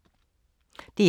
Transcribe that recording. DR2